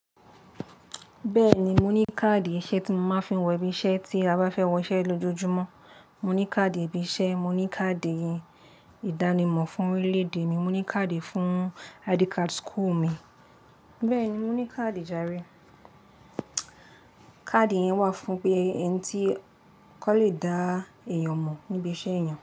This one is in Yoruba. Bẹ́ẹ̀ni, mo ní káàdì iṣẹ́ tí mo máa ń fi wọ ibi iṣẹ́ tí a bá fẹ́ wọ iṣẹ́ lójoojúmọ́. Mo ní káàdì ibi iṣẹ́, mo ní káàdì ìdánimọ̀ fún orílẹ̀-èdè mi, mo ní káàdì fún ID card school mi. Bẹ́ẹ̀ni, mo ní káàdì jáàre. Káàdì yẹn wà fún pé ẹni tí kò le dá èèyàn mọ̀ níbi iṣẹ́ èèyàn.